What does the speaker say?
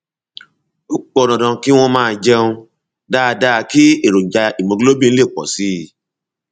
ó pọn dandan kí wọn máa jẹun dáadáa kí èròjà hemoglobin lè pọ sí i